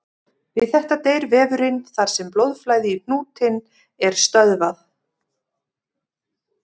Við þetta deyr vefurinn þar sem blóðflæði í hnútinn er stöðvað.